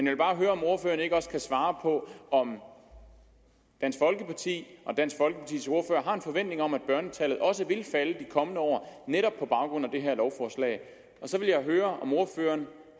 vil bare høre om ordføreren ikke også kan svare på om dansk folkeparti og dansk folkepartis ordfører har en forventning om at børnetallet også vil falde de kommende år netop på grund af det her lovforslag så vil jeg høre om ordføreren